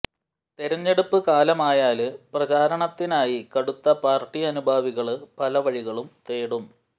തെരഞ്ഞെടുപ്പ് കാലമായാല് പ്രചാരണത്തിനായി കടുത്ത പാര്ട്ടി അനുഭാവികള് പല വഴികളും തേടും